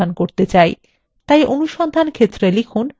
তাই অনুসন্ধান ক্ষেত্রে লিখুন ramesh